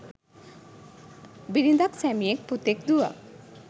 බිරිඳක්, සැමියෙක්, පුතෙක්, දුවක්,